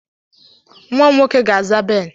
Nnwa m nwoke ga-aza Ben!